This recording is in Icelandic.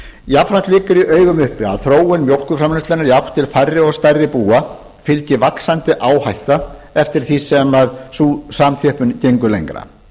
jafnframt liggur í augum uppi að þróun mjólkurframleiðslunnar í átt til færri og stærri búa fylgir vaxandi áhætta eftir því sem sú samþjöppun gengur lengra